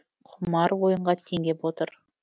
құмар ойынға теңеп отыр